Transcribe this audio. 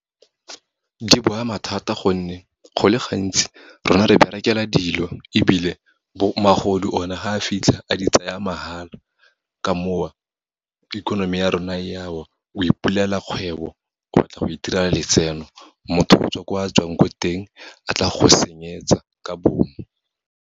Di ba ama thata gonne, go le gantsi rona re berekela dilo, ebile magodu one fa a fitlha, a di tsaya mahala. Ka moo, economy ya rona e ya wa, o ipulela kgwebo, o batla go itirela letseno, motho o tswa ko a tswang ko teng, a tla go senyetsa ka bomu.